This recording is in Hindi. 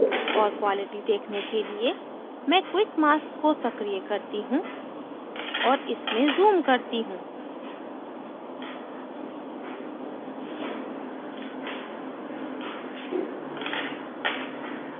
और quality देखने के लिए मैं quick mask को सक्रीय करती हूँ और इसमें zoom करती हूँ